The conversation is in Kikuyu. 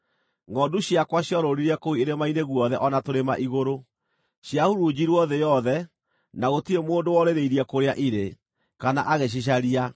Ngʼondu ciakwa ciorũũrire kũu irĩma-inĩ guothe o na tũrĩma-igũrũ. Ciahurunjirwo thĩ yothe, na gũtirĩ mũndũ worĩrĩirie kũrĩa irĩ, kana agĩcicaria.